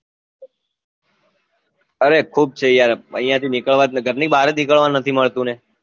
અરે ખુબ છે યાર ઐયા થી નીકળવા જ ઘર ની બાર જ નીકળવા નથી મળતું ને